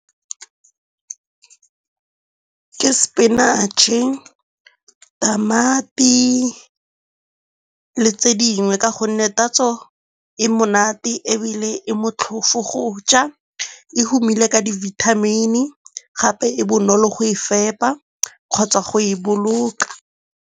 Ke sepinatšhe, tamati le tse dingwe ka gonne tatso e monate ebile e motlhofu go ja, e humile ka dibithamini gape e bonolo go e fepa kgotsa go e boloka.